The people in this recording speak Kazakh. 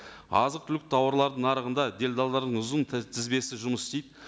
азық түлік тауарлардың нарығында делдалдардың ұзын тізбесі жұмыс істейді